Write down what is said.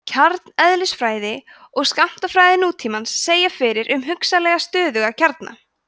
kjarneðlisfræði og skammtafræði nútímans segja fyrir um hugsanlega stöðuga kjarna